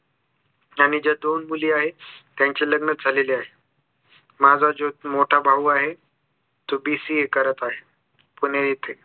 आणि त्या दोन मुली आहेत त्यांचे लग्न झालेले आहेत माझा जो मोठा भाऊ आहे तो BCA करत आहे पुणे येथे